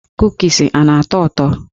Kukis a na-atọ ụtọ?